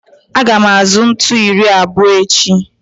Aga m azụ ntu iri abụọ echi